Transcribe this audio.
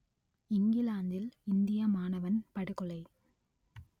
இங்கிலாந்தில் இந்திய மாணவன் படுகொலை